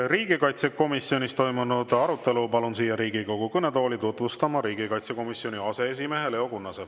Riigikaitsekomisjonis toimunud arutelu palun siia Riigikogu kõnetooli tutvustama riigikaitsekomisjoni aseesimehe Leo Kunnase.